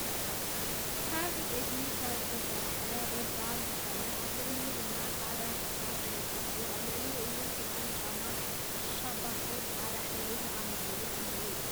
ካብ ዕንጨይቲ ካብ ዝተሰረሐ ርብራብ ዝኮነ ኣብ ልዕሊኡ ድማ ፃዕዳ ክሻ ተነፂፉ ኣብልዕሊኡ እውን ዕጣን ጫማታት ሻባቶን ብፃዕዳ ሕብርን ዝኣመሰሉን ኣለው።